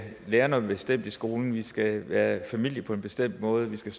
lære noget bestemt i skolen at vi skal være familie på en bestemt måde at vi skal